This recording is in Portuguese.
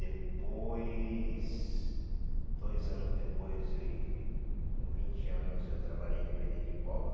Depois, dois anos depois, e com vinte anos, eu trabalhei de vender pipoca.